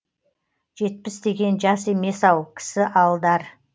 жетпіс деген жас емес ау кісі алдар